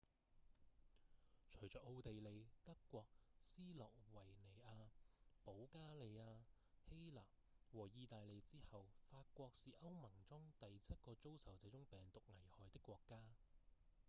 隨著奧地利、德國、斯洛維尼亞、保加利亞、希臘和義大利之後法國是歐盟中第七個遭受這種病毒危害的國家